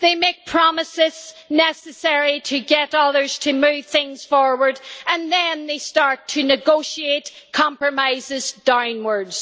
they make promises necessary to get others to move things forward and then they start to negotiate compromises downwards.